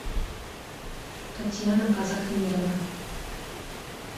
татьяна казахмедова